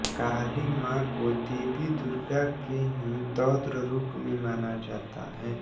काली मां को देवी दुर्गा का ही रौद्र रूप माना जाता है